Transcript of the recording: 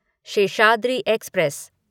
Seshadri express